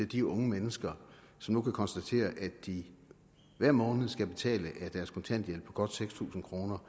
de unge mennesker som nu kan konstatere at de hver måned af deres kontanthjælp på godt seks tusind kroner